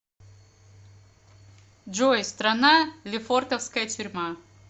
джой страна лефортовская тюрьма